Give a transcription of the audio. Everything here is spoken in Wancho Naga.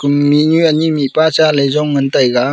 mihnu anyi mihpa cha ley jong ngan taiga.